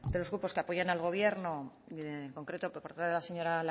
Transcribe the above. los grupos que apoyan al gobierno y de en concreto por parte de la señora